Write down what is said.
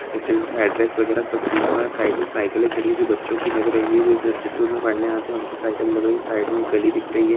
इस का अड्रेस वगेरा सब दिया हुआ है साइड मे साइकले खड़ी है जो बच्चों की लग रही है जो इस इंस्टिट्यूट मे पढ़ने आते है उनकी साइकल लग रही है साइड मे एक गली दिख रही है।